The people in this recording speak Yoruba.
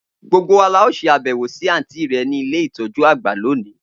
Gbogbo wa lao se abewo si anti re ni ile itoju agba loni.